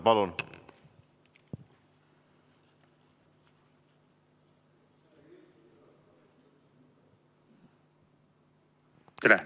Palun!